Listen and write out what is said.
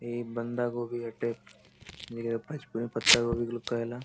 इ बंदा गोभी हटे इ पच पत्ता गोभी लोग कहेला।